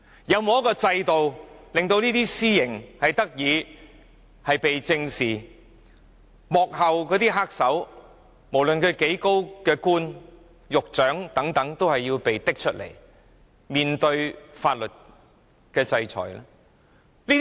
有沒有制度令私刑受到正視，也令幕後黑手，無論官階多高均要接受法律制裁？